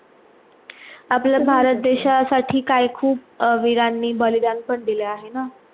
आपल्या भारत देशासाठी काही खूप वीरांनी बलिदान पण दिला आहे ना